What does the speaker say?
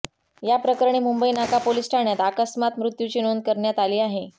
या प्रकरणी मुंबई नाका पोलीस ठाण्यात अकस्मात मृत्युची नोंद करण्यात आली आहे